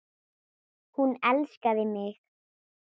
Hún elskaði mig.